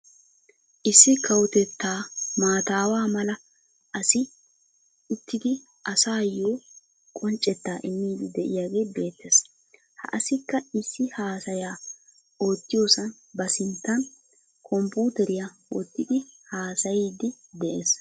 Issi kawotettaa matawa mala asi uttidi asaayo qonccettaa immidi de'iyaagee beettees. Ha assikka issi hasayaa ottiyosaan ba sinttaan kompputeryaa wottidi hasayiidi dees.